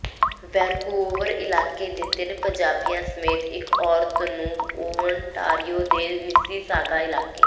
Vancouver ਇਲਾਕੇ ਦੇ ਤਿੰਨ ਪੰਜਾਬੀਆਂ ਸਮੇਤ ਇਕ ਔਰਤ ਨੂੰ ਓਨਟਾਰੀਓ ਦੇ ਮਿਸੀਸਾਗਾ ਇਲਾਕੇ